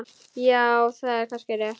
Já, það er kannski rétt.